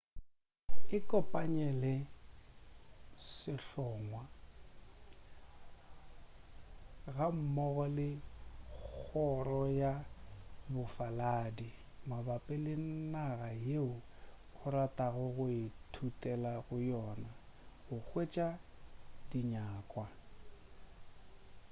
ikopanye le sehlongwa gammogo le kgoro ya bofaladi mabapi le naga yeo o ratago go ithutela go yona go hwetša dinyakwa